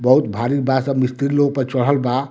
बहुत भारी बा सब मिस्त्री लोग ऊपर चढ़ल बा --